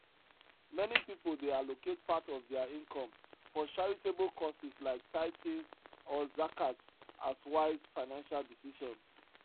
meni pipul dey allocate part of dia income for charitable causes like tithing or zakat as wise financial decision